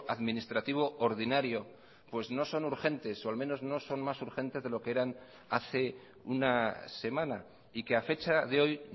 administrativo ordinario pues no son urgentes o al menos no son más urgentes de lo que eran hace una semana y que a fecha de hoy